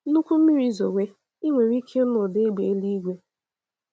Nnukwu mmiri zowe, i nwere ike ịnụ ụda égbè eluigwe.